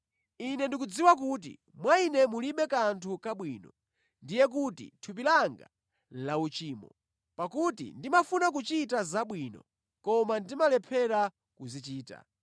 Ine ndikudziwa kuti mwa ine mulibe kanthu kabwino, ndiye kuti mʼthupi langa lauchimo. Pakuti ndimafuna kuchita zabwino, koma ndimalephera kuzichita.